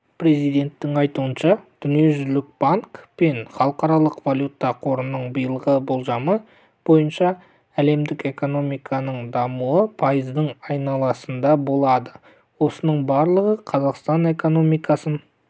президенттің айтуынша дүниежүзілік банк пен халықаралық валюта қорының биылғы болжамы бойынша әлемдік экономиканың дамуы пайыздың айналасында болады осының барлығы қазақстан экономикасын